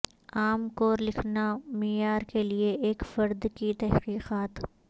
عام کور لکھنا معیار کے لئے ایک فرد کی تحقیقات